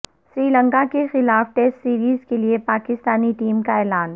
سری لنکا کےخلاف test series کے لیے پاکستانی ٹیم کا اعلان